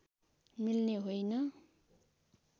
मिल्ने होइन